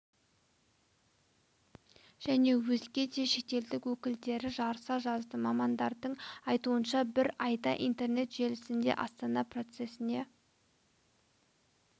және өзге де шетелдік өкілдері жарыса жазды мамандардың айтуынша бір айда интернет желісінде астана процесіне